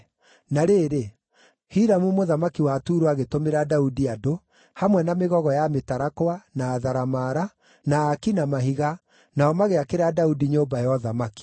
Na rĩrĩ, Hiramu mũthamaki wa Turo agĩtũmĩra Daudi andũ, hamwe na mĩgogo ya mĩtarakwa, na atharamara, na aaki na mahiga, nao magĩakĩra Daudi nyũmba ya ũthamaki.